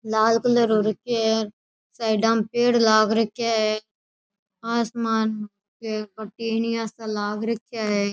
लाल कलर हो रखे साइड में पेड़ लाग रखे है आसमान पर टेनिया सा लाग रखा है।